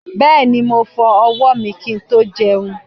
Bẹ́ẹ̀ni., mo fọ ọwọ́ mi kí n tó jẹun.